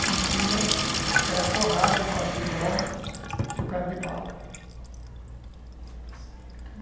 E em cima era forrada de pachibão por causa de bala, está certo.